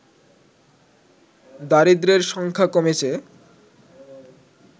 দারিদ্রের সংখ্যা কমেছে